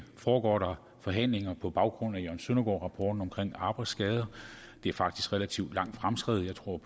foregår forhandlinger på baggrund af jørgen søndergaard rapporten om arbejdsskader det er faktisk relativt lang fremskredet jeg tror